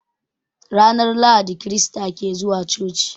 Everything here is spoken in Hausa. Ranar Lahadi krista ke zuwa coci.